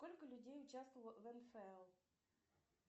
сколько людей участвовало в нфл